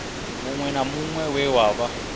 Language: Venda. muṅwe na muṅwe we wa